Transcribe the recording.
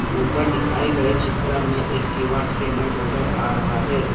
ऊपर दिखाए गए चित्र में एक क्यू_आर स्कैनर नजर आ रहा है।